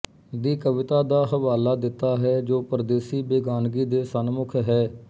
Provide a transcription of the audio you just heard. ਦੀ ਕਵਿਤਾ ਦਾ ਹਵਾਲਾ ਦਿੱਤਾ ਹੈ ਜੋ ਪਰਦੇਸੀ ਬੇਗਾਨਗੀ ਦੇ ਸਨਮੁੱਖ ਹੈ